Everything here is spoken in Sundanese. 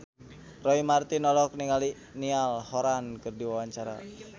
Roy Marten olohok ningali Niall Horran keur diwawancara